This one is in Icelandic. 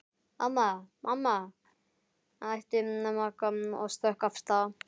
Mamma, mamma æpti Magga og stökk af stað.